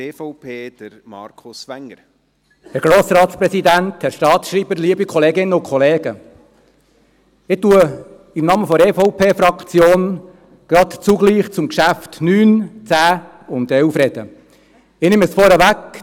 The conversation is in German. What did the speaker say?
Ich spreche im Namen der EVP-Fraktion zugleich zu den Traktanden 9, 10 und 11. Ich nehme es vorweg: